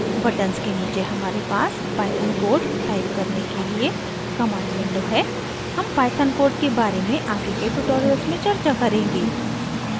buttons के नीचे हमारे पास python code type करने के लिए command window है हम python code के बारे में आगे के tutorials में चर्चा करेंगे